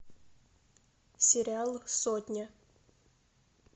сериал сотня